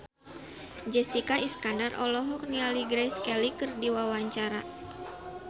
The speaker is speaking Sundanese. Jessica Iskandar olohok ningali Grace Kelly keur diwawancara